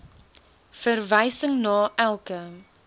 verwysing na elke